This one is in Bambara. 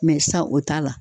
Mɛ sa o t'a la